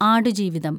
Aadujeevitham